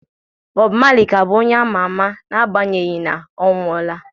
Bob Marley ka bụ onye a ma ama n'agbanyeghị na ọ nwụọla